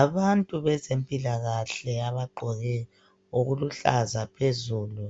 Abantu bezempilakahle abagqoke okuluhlaza phezulu.